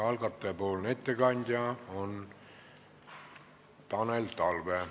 Algatajapoolne ettekandja on Tanel Talve.